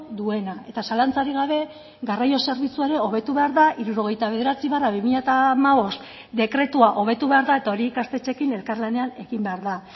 duena eta zalantzarik gabe garraio zerbitzua ere hobetu behar da hirurogeita bederatzi barra bi mila hamabost dekretua hobetu behar da eta hori ikastetxeekin elkarlanean egin behar da